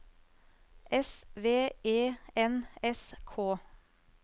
S V E N S K